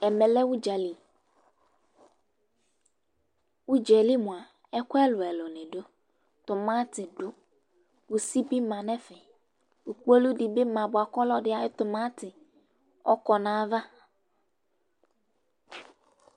Ɛmɛ lɛ ʋdzali Ʊdza yɛ li mʋa, ɛkʋ ɛlʋɛlʋ nɩ dʋ:tʋmatɩ dʋ,kusi bɩ ma nʋ ɛfɛ, kpolu dɩ bɩ ma bʋa kʋ ɔlɔdɩ ayʋ tʋmatɩ ɔkɔ nayava